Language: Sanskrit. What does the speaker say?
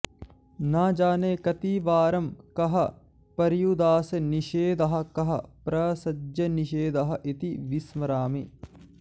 न जाने कतिवारं कः पर्युदासनिषेधः कः प्रसज्यनिषेधः इति विस्मरामि